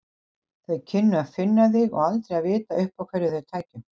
Þau kynnu að finna þig og aldrei að vita uppá hverju þau taka.